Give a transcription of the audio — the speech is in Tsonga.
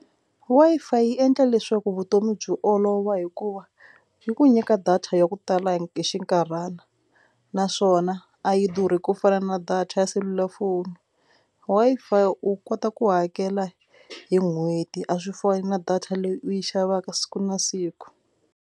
Wi-Fi yi endla leswaku vutomi byi olova hikuva yi ku nyika data ya ku tala hi xinkarhana naswona a yi durhi ku fana na data ya selulafoni. Wi-Fi u kota ku hakela hi n'hweti a swi fani na data leyi u yi xavaka siku na siku.